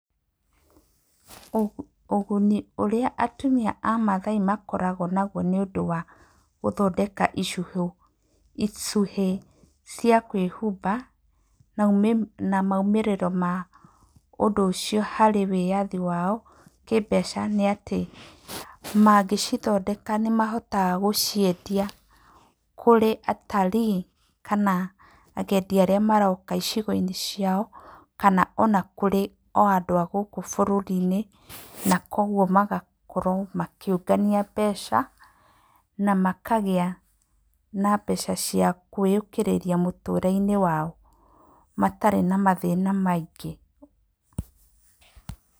Ũguni ũrĩa atumia a Maathai makoragwo naguo nĩ ũndũ wa gũthondeka icũhĩ cia kwĩhumba na moimĩrĩroo mao harĩ wĩyathi kĩĩmbeca nĩ atĩ mangĩcithondeka nĩ mahotaga gũciendia kũrĩ cs] atalii kana agendi arĩa maroka icigo-inĩ ciao, kana ona kũrĩ andũ a gũkũ bũrũri-inĩ. Na kwoguo magakorwo makĩũngania mbeca na makagĩa na mbeca cia kwĩyũkĩrĩria mũtũrĩre-inĩ wao matarĩ na mathĩna maingĩ.